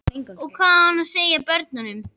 Og hvað á hann að segja börnunum?